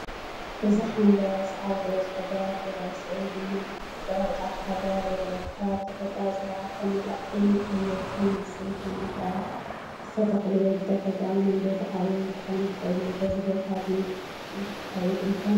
እዚ ሓምላይ ሳዕሪ ዝበዝሖ ግራት ይርአ፣ ስዒቡ ድማ ጽዑቕ ጫካ ኣግራብ ይርአ። እቲ ከባቢ ብተፈጥሮኣዊ ጽባቐ ዝተመልአ ኮይኑ ኣየር ጥዑይ ይመስል። እቶም ኣግራብ ዝተተኽሉ ወይ ብተፈጥሮኣዊ መንገዲ ዓብዮም ክኾኑ ይኽእሉ። በዚ ቦታ እዚ እንተትኸይድ እንታይ ምገበርካ?